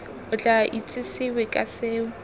o tla itsesewe ka seo